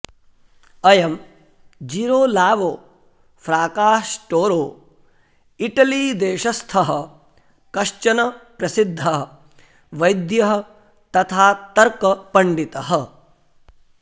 अयं Girolamo Fracastoro इटलीदेशस्थः कश्चन प्रसिद्धः वैद्यः तथा तर्कपण्डितः